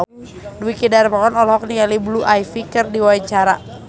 Dwiki Darmawan olohok ningali Blue Ivy keur diwawancara